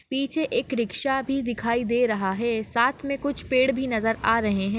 पीछे एक रिक्शा भी दिखाई दे रहा है साथ मे कुछ पेड़ भी नजर आ रहे है।